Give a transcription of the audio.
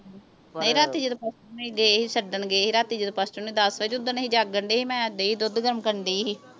ਰਾਤੀ ਜਦੋਂ ਗਏ ਸੀ ਛੱਡਣ ਗਏ ਸੀ ਰਾਤੀ ਜਦੋਂ ਨੇ ਦੱਸ ਦਿੱਤਾ ਸੀ ਓਧਣ ਅਸੀਂ ਜਾਗਣ ਡਏ ਸੀ ਮੈਂ ਧੀ ਦੁੱਧ ਗਰਮ ਕਰਨ ਡਈ ਸੀ